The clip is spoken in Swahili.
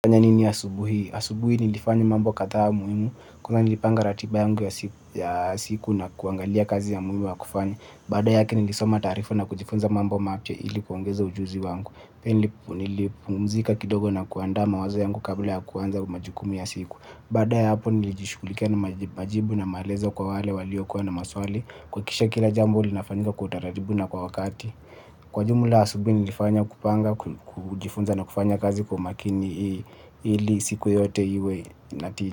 Fanya nini asubuhi? Asubuhi nilifanya mambo kadhaa muhimu, kwanza nilipanga ratiba yangu ya siku na kuangalia kazi ya muhimu ya kufanya. Baada yake nilisoma taarifa na kujifunza mambo mapya ili kuongeza ujuzi wangu. Pia nilipumzika kidogo na kuandaa mawazo yangu kabla ya kuanza majukumu ya siku. Baada ya hapo nilijishughulikia na majibu na maelezo kwa wale waliokuwa na maswali. Kuhakikisha kila jambo linafanyika kwa utaratibu na kwa wakati. Kwa jumla asubuhi nilifanya kupanga, kujifunza na kufanya kazi kwa umakini ili siku yote iwe inatii.